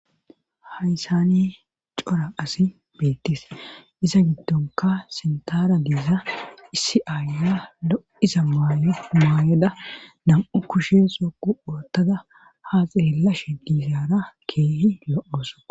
haysani cora asi beettis iza giddonka sintara diiza issi aaya lo7iza ymaayeda nam7u kushe soqu oottada ha xeellashe diizaara keehi lo7oso